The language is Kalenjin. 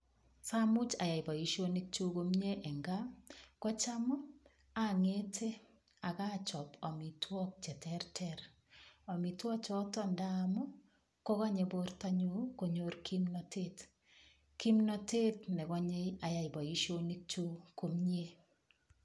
Siamuch ayai boisionikyuk komie eng kaa, kocham angete ak achop amitwogche terter. Amitwogchoton ndaa ii kogonye bortonyu kogon kimnatet. Kimnatet ne gonyei ayai boisionik kyuk.